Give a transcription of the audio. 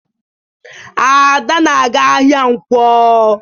Ada na-aga ahịa Nkwo.